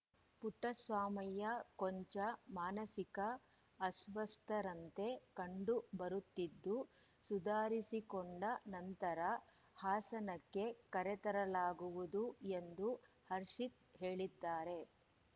ಪುಟ್ಟಸ್ವಾಮಯ್ಯ ಕೊಂಚ ಮಾನಸಿಕ ಅಸ್ವಸ್ಥರಂತೆ ಕಂಡು ಬರುತ್ತಿದ್ದು ಸುಧಾರಿಸಿಕೊಂಡ ನಂತರ ಹಾಸನಕ್ಕೆ ಕರೆತರಲಾಗುವುದು ಎಂದು ಹರ್ಷಿತ್‌ ಹೇಳಿದ್ದಾರೆ